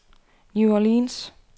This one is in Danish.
New Orleans